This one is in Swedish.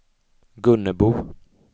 Gunnebo